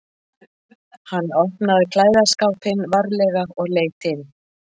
Hann opnaði klæðaskápinn varlega og leit inn.